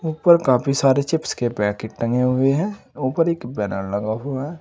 ऊपर काफी सारे चिप्स के पैकेट टंगे हुए है ऊपर एक बैनर लगा हुआ है।